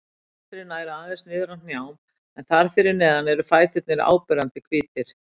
Mynstrið nær aðeins niður að hnjám en þar fyrir neðan eru fæturnir áberandi hvítir.